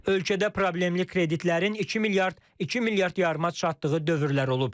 Ölkədə problemli kreditlərin 2 milyard, 2 milyard yarıma çatdığı dövrlər olub.